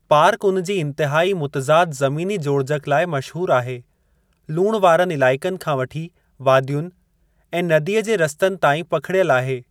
Park उन जी इंतिहाई मुतज़ाद ज़मीनी जोड़जकि लाइ मशहूरु आहे, लूण वारनि इलाइक़नि खां वठी वादियुनि, ऐं नदीअ जे रस्तनि ताईं पखिड़ियल आहे।